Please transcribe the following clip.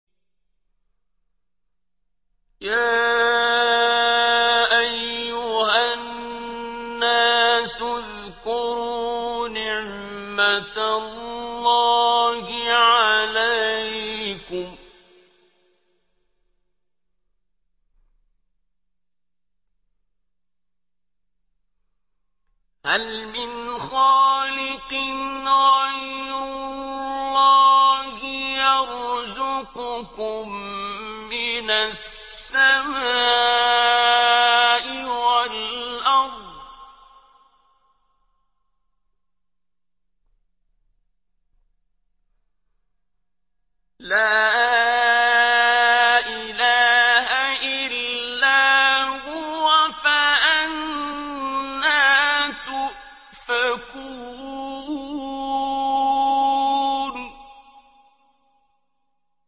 يَا أَيُّهَا النَّاسُ اذْكُرُوا نِعْمَتَ اللَّهِ عَلَيْكُمْ ۚ هَلْ مِنْ خَالِقٍ غَيْرُ اللَّهِ يَرْزُقُكُم مِّنَ السَّمَاءِ وَالْأَرْضِ ۚ لَا إِلَٰهَ إِلَّا هُوَ ۖ فَأَنَّىٰ تُؤْفَكُونَ